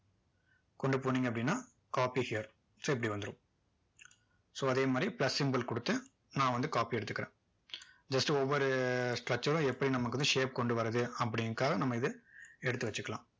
கொண்டு போனீங்க அப்படின்னா copy here so இப்படி வந்துரும் so அதே மாதிரி plus symbol கொடுத்து நான் வந்து copy எடுத்துக்கிறேன் just ஒவ்வொரு structure உம் எப்படி நமக்கு வந்து shape கொண்டு வருது அப்படிங்கறதுக்காக நம்ம இதை எடுத்து வச்சிக்கலாம்